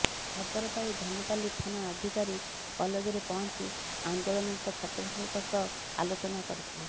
ଖବର ପାଇ ଧନୁପାଲି ଥାନା ଅଧିକାରୀ କଲେଜରେ ପହଞ୍ଚି ଆନ୍ଦୋଳନରତ ଛାତ୍ରଛାତ୍ରୀଙ୍କ ସହ ଆଲୋଚନା କରିଥିଲେ